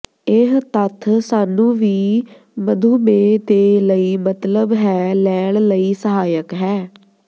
ਇਹ ਤੱਥ ਸਾਨੂੰ ਵੀ ਮਧੂਮੇਹ ਦੇ ਲਈ ਮਤਲਬ ਹੈ ਲੈਣ ਲਈ ਸਹਾਇਕ ਹੈ